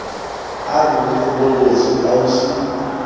a borikgwe bo botsho kausu